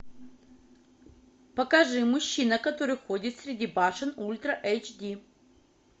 покажи мужчина который ходит среди башен ультра эйч ди